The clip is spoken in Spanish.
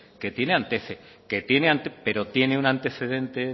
que tiene antecedente pero tiene un antecedente